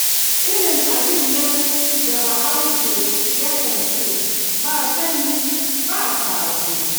Irin abin nan da Bahaushe yakan ce, ba sani ba sabo.